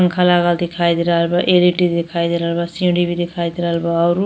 पंखा लागल दिखाई दे रहल बा। एल ई डी भी दिखाई दे रहल बा। सीढ़ी भी दिखाई दे रहल बा औरु --